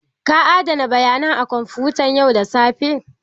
Ka adana bayanan a kwamfutan yau da safe?